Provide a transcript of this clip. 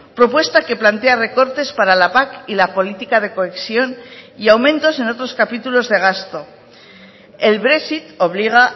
propuesta que plantea recortes para la pac y la política de cohesión y aumentos en otros capítulos de gasto el brexit obliga